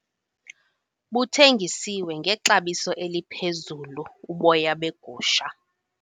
Buthengisiwe ngexabiso eliphezulu uboya begusha.